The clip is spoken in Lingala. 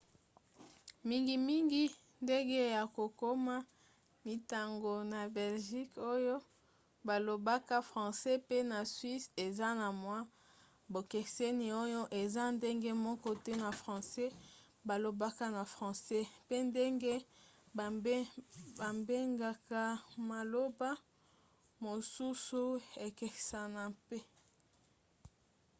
mingimingi ndenge ya kokoma mintango na belgique oyo balobaka francais pe na suisse eza na mwa bokeseni oyo eza ndenge moko te na francais balobaka na france pe ndenge babengaka maloba mosusu ekesanaka mpe